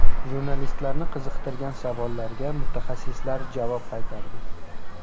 Jurnalistlarni qiziqtirgan savollarga mutaxassislar javob qaytardi.